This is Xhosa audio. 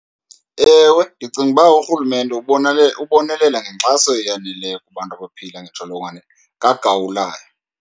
Ewe, ndicinga uba urhulumente ubonelela ngenxaso eyaneleyo kubantu abaphila nentsholongwane kagawulayo.